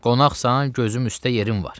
Qonaqsan, gözüm üstə yerin var.